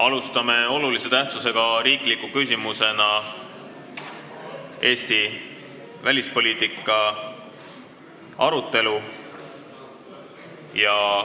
Alustame olulise tähtsusega riikliku küsimusena Eesti välispoliitika arutelu.